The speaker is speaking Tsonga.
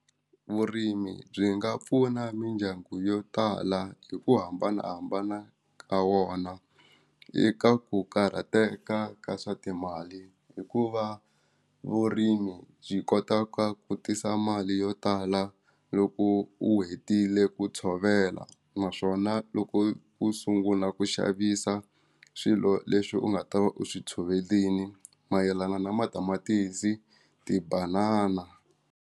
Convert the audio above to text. Vurimi byi nga pfuna mindyangu yo tala hi ku hambanahambana ka wona eka ku karhateka ka swa timali hikuva vurimi byi kota ka ku tisa mali yo tala loko u hetile ku tshovela naswona loko u sungula ku xavisa swilo leswi u nga ta va u swi tshovelini mayelana na matamatisi ti-banana.